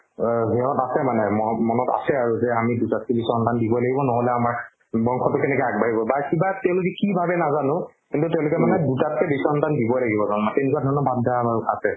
অ, সিহঁত আছে মানে ম ~ মনত আছে আৰু যে আমি দুটাতকে বেছি সন্তান দিবই লাগিব নহ'লে আমাৰ বংশতো কেনেকে আগবাঢ়িব বা কিবা তেওঁলোকে কি ভাবে নাজানো কিন্তু তেওঁলোকে মানে দুটাতকে বেছি সন্তান দিবই লাগিব জন্ম তেনেকুৱা ধৰণৰ ভাবধাৰা আমাৰো আছে